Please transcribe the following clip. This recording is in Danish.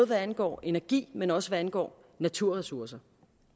hvad angår energi men også hvad angår naturressourcer